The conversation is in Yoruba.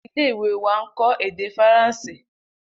Ile-iwe wa nkọ ede Faranse.